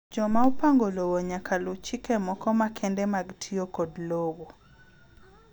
Joma opango lowo nyaka luwo chike moko makende mag tiyo kod lowo.